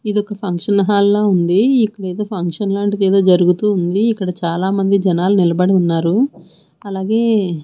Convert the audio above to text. ఇదొక ఫంక్షన్ హాల్లా ఉంది ఇక్కడేదో ఫంక్షన్ లాంటిదేదో జరుగుతూ ఉంది ఇక్కడ చాలామంది జనాలు నిలబడి ఉన్నారు అలాగే--